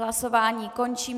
Hlasování končím.